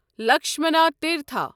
Lakshmana Tirtha